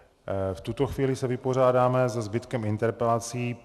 V tuto chvíli se vypořádáme se zbytkem interpelací.